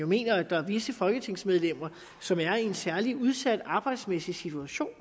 mener at der er visse folketingsmedlemmer som er i en særlig udsat arbejdsmæssig situation